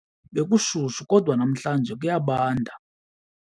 Bekushushu kodwa namhlanje kuyabanda.